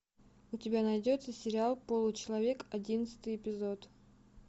у тебя найдется сериал получеловек одиннадцатый эпизод